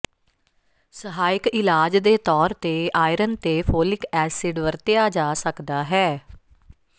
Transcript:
ਸਹਾਇਕ ਇਲਾਜ ਦੇ ਤੌਰ ਤੇ ਆਇਰਨ ਤੇ ਫੋਲਿਕ ਐਸਿਡ ਵਰਤਿਆ ਜਾ ਸਕਦਾ ਹੈ